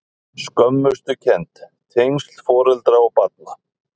Skömmustukennd- tengsl foreldra og barna